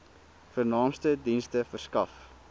vernaamste dienste verskaf